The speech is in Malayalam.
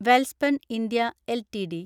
Welspun India LTD